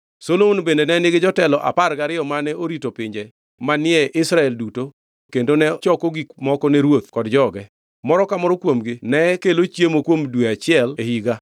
Solomon bende ne nigi jotelo apar gariyo mane orito pinje manie Israel duto kendo ne choko gik moko ne ruoth kod joge. Moro ka moro kuomgi ne kelo chiemo kuom dwe achiel e higa.